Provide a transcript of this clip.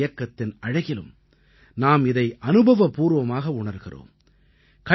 தூய்மை இயக்கத்தின் அழகிலும் நாம் இதை அனுபவபூர்வமாக உணர்கிறோம்